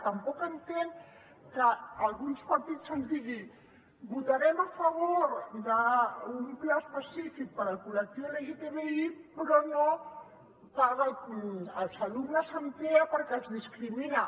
tampoc entenc que alguns partits ens diguin votarem a favor d’un pla específic per al col·lectiu lgtbi però no per als alumnes amb tea perquè els discrimina